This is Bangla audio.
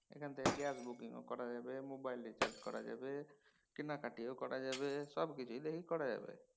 এখান থেকে গ্যাস বুকিং ও করা যাবে। মোবাইল recharge করা যাবে। কেনাকাটিও করা যাবে সব কিছুই দেখি করা যাবে।